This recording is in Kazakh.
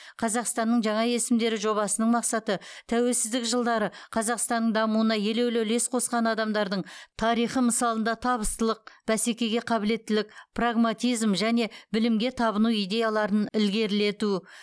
қазақстанның жаңа есімдері жобасының мақсаты тәуелсіздік жылдары қазақстанның дамуына елеулі үлес қосқан адамдардың тарихы мысалында табыстылық бәсекеге қабілеттілік прагматизм және білімге табыну идеяларын ілгерілету